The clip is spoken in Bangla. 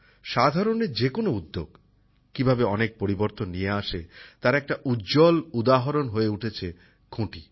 সাধারণের যে কোনো উদ্যোগ কীভাবে অনেক পরিবর্তন নিয়ে আসে তার এক উজ্জ্বল উদাহরণ হয়ে উঠেছে খুঁটি